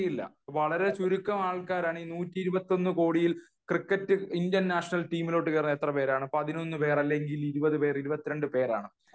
വളരെ ചുരുക്കം ആൾക്കാരാണ് നൂറ്റി ഇരുപത്തി ഒന്ന് കോടിയിൽ ക്രിക്കറ്റ് ഇന്ത്യൻ നാഷണൽ ടീമിൽ കേറാൻ എത്ര പേരാണ് പതിനൊന്ന് പേരാണ് അല്ലെങ്കിൽ ഇരുപത്തിരണ്ട് പേരാണ്